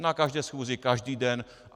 Na každé schůzi, každý den.